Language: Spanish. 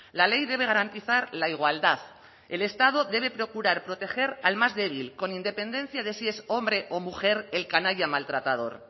la ley debe garantizar la igualdad el estado debe procurar proteger al más débil con independencia de si es hombre o mujer el canalla maltratador